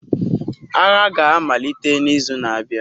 Agha ga-amalite n'izu na-abịa.